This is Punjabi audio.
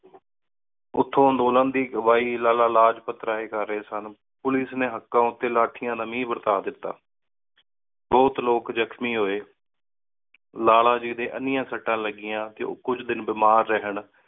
ਓਥੋਂ ਅੰਦੋਲਨ ਦੀ ਲਾਲਾ ਲਾਜਪਤ ਰਾਇ ਕਰ ਰੇ ਸਨ ਪੋਲਿਕੇ ਨੀ ਹਿੱਕਾਂ ਊਟੀ ਲਾਠਿਯਾਂ ਦਾ ਮੀਂਹ ਵਾਸਾ ਦਿਤਾ ਬੋਹਤ ਲੋਗ ਜ਼ਖਮੀ ਹੋਏ ਲਾਲਾ ਗੀ ਡੀ ਅਨ੍ਨਿਯਾ ਸੱਟਾਂ ਲਾਗਿਯਾਂ ਟੀ ਓਹ ਕੁਝ ਦਿਨ ਬੇਮਾਰ ਰਹੀ